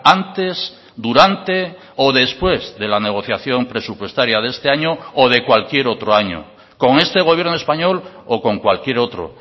antes durante o después de la negociación presupuestaria de este año o de cualquier otro año con este gobierno español o con cualquier otro